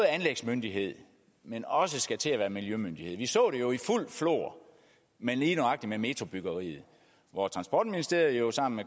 anlægsmyndighed men også skal til at være miljømyndighed vi så det jo i fuldt flor ved lige nøjagtig metrobyggeriet hvor transportministeriet sammen